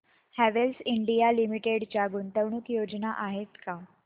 Havells India limited च्या गुंतवणूक योजना आहेत का